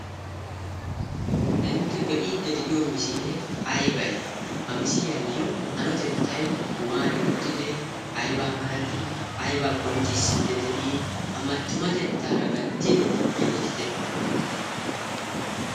intte be'iidde de'iyo misilee aybay ha misiliyaayyo hanotettay waani uttidee aybaa malatii aybaa qonccissiidde de'ii amattumatettaara gattidi yootite?